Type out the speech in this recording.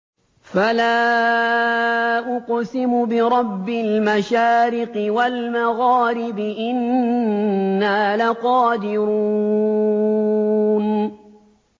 فَلَا أُقْسِمُ بِرَبِّ الْمَشَارِقِ وَالْمَغَارِبِ إِنَّا لَقَادِرُونَ